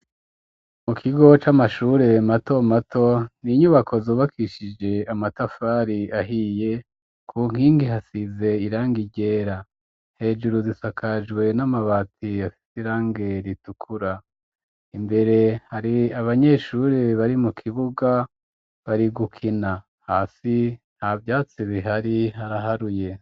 Mu kigo c'amashure mato mato, inyubako zubakishije amatafari ahiye, ku nkingi hasize irangi ryera. Hejuru zisakajwe n'amabati afise irangi ritukura. Imbere hari abanyeshure bari mu kibuga bari gukina. Hasi nta vyatsi bihari, haraharuye.